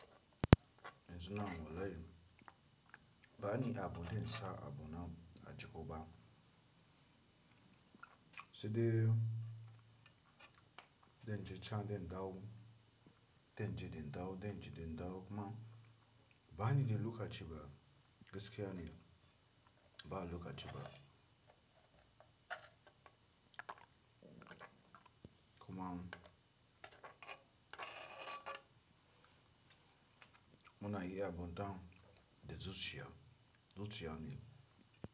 Yanzu na walai. Ba ni abu dai sa abu na a ji kowa. Sai dai, dai na je can dai na dawo, dai na je dai na dawo, dai na je dai na dawo kuma ba ni da lokaci ba gaskiya ne. Ba lokaci ba. Kuma muna yi abun dan da zuciya, zuciya ne.